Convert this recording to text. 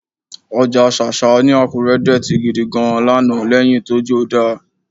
Ọjà ṣáṣá ní Àkúré dọ̀tí gidi gan-an lánàá lẹ́yìn tójó dá